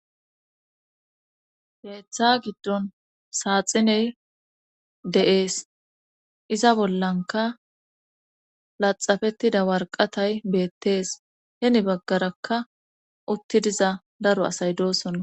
gaetha giddon saaxiney de7ees iza bollanka laxafettida warqatay beettees heni baggarakka utti diza daro asay doosonna